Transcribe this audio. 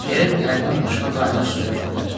Elə bil Əlinin başına qaynayan su tökdülər.